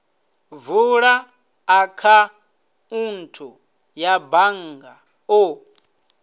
vula akhaunthu ya bannga u